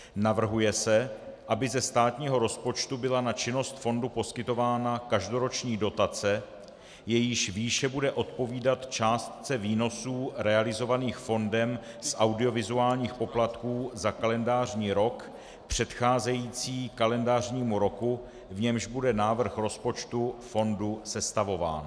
Navrhuje se, aby ze státního rozpočtu byla na činnost fondu poskytována každoroční dotace, jejíž výše bude odpovídat částce výnosů realizovaných fondem z audiovizuálních poplatků za kalendářní rok předcházející kalendářnímu roku, v němž bude návrh rozpočtu fondu sestavován.